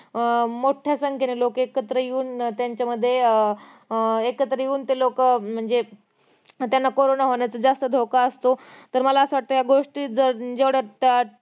अह मोठ्या संख्येने लोक एकत्र येऊन त्यांच्यामध्ये अं एकत्र येऊन ते लोकं अं म्हणजे त्यांना कारोंना होण्याचं जास्त धोका असतो तर मला असं वाटतं गोष्टीत जेवढ्या अं